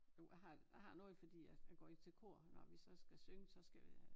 Jo jeg har jeg har noget fordi jeg jeg går i til kor og når vi så skal synge så skal vi have